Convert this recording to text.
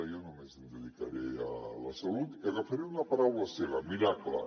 jo només em dedicaré a la salut i agafaré una paraula seva miracle